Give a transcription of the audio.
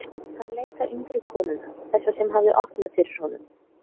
Hann leit á yngri konuna, þessa sem hafði opnað fyrir honum.